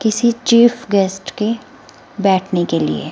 किसी चीफगेस्ट के बैठने के लिए।